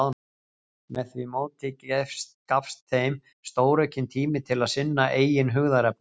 Með því móti gafst þeim stóraukinn tími til að sinna eigin hugðarefnum.